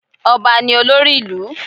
Ọba ni olórí ìlú.